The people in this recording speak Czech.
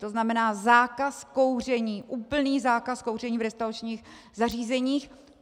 To znamená zákaz kouření, úplný zákaz kouření v restauračních zařízeních.